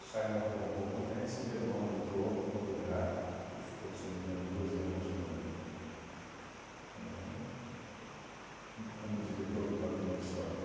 O Saia morreu um pouco antes e meu irmão entrou no lugar e ficou, se não me engano, doze anos com com co como diretor do patrimônio histórico.